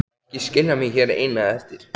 Ekki skilja mig hér eina eftir!